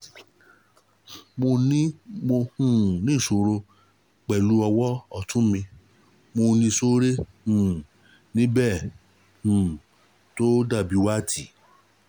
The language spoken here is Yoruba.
mo um ní ìṣòro pẹ̀lú ọwọ́ ọ́tún mi mo ní sore um níbẹ̀ um tó dàbí wart